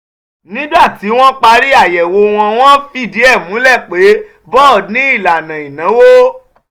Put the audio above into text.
nígbà tí wọ́n parí àyẹ̀wò wọn wọ́n fìdí ẹ̀ múlẹ̀ pé boad ní "ìlànà ìnáwó".